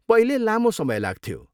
पहिले, लामो समय लाग्थ्यो।